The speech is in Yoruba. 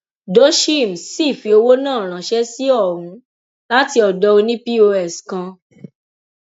cs] dosheim sì fi owó náà ránṣẹ sí ohun láti ọdọ òní pọs kan